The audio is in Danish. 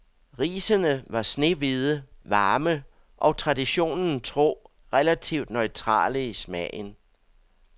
Risene var snehvide, varme og traditionen tro relativt neutrale i smagen.